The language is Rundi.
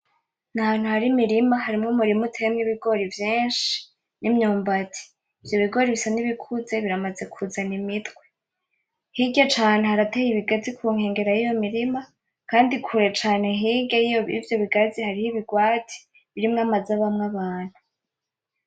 Ni ahantu hari imirima. Harimwo umurima uteyemwo ibigori vyinshi n'imyumbati. Ivyo bigori bisa n'ibikuze biramaze kuzana imitwe. Hirya caane harateye ibigazi ku nkengera y'iyo mirima kandi kure cane hirya y'ivyo bigazi hariho ibigwati birimwo amazu abamwo abantu